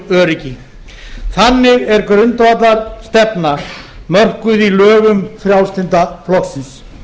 öryggi þannig er grundvallarstefnan mörkuð í lögum frjálslynda flokksins